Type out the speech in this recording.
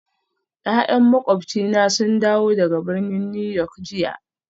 Ya'yan makwabcina sun dawo daga birnin New York jiya